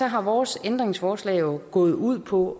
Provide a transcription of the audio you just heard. har vores ændringsforslag jo gået ud på